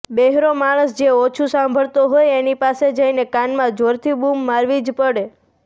બહેરો માણસ જે ઓછું સાંભળતો હોય એની પાસે જઈને કાનમાં જોરથી બૂમ મારવી જ પડે